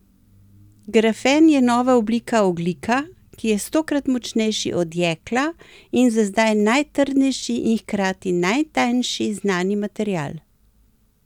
Grafen je nova oblika ogljika, ki je stokrat močnejši od jekla in za zdaj najtrdnejši in hkrati najtanjši znani material.